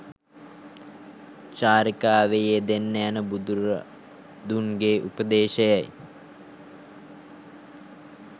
චාරිකාවේ යෙදෙන්න යනු බුදුරදුන්ගේ උපදේශයයි.